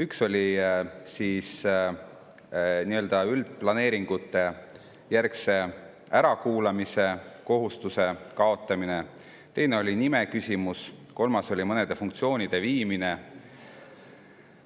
Üks oli nii-öelda üldplaneeringujärgse ärakuulamise kohustuse kaotamine, teine oli nimeküsimus ja kolmas oli mõnede funktsioonide viimine